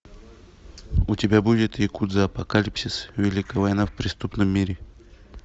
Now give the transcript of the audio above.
у тебя будет якудза апокалипсис великая война в преступном мире